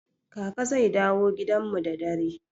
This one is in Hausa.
Kaka zai dawo gidan mu da dare.